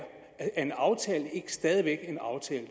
at en aftale ikke stadig væk er en aftale